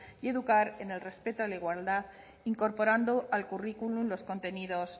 y educar en el respeto a la igualdad incorporando al currículo los contenidos